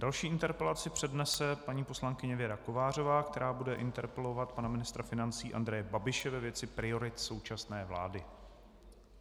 Další interpelaci přednese paní poslankyně Věra Kovářová, která bude interpelovat pana ministra financí Andreje Babiše ve věci priorit současné vlády.